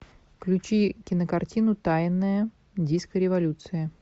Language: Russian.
включи кинокартину тайная диско революция